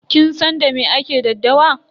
Kin san da me ake daddawa?